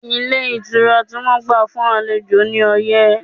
Ilé ìtura tí wọ́n gbà fún àlejò ní ọyẹ́